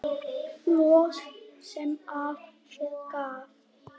Bros sem af sér gaf.